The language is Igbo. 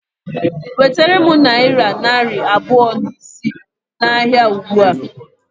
Wetere m nayira narị abụọ na isii na ahịa ụgbụa